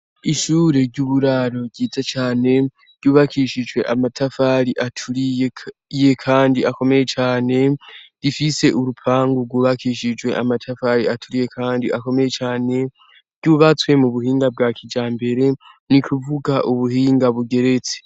ishure ry'uburaro ryiza cane ryubakishijwe amatafari aturiye kandi akomeye cane, rifise urupangu rwubakishijwe amatafari aturiye kandi akomeye cyane ry'ubatswe mu buhinga bwa kijambere ni kuvuga ubuhinga bugeretse.